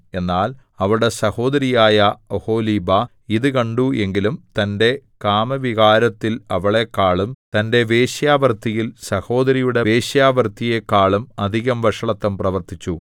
എന്നാൽ അവളുടെ സഹോദരിയായ ഒഹൊലീബാ ഇതു കണ്ടു എങ്കിലും തന്റെ കാമവികാരത്തിൽ അവളെക്കാളും തന്റെ വേശ്യാവൃത്തിയിൽ സഹോദരിയുടെ വേശ്യവൃത്തിയെക്കാളും അധികം വഷളത്തം പ്രവർത്തിച്ചു